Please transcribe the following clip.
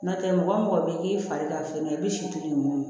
N'o tɛ mɔgɔ mɔgɔ bɛ k'i fari ka fɛn na i bɛ si to yen nɔ